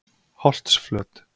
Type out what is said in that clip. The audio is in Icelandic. Holtsflöt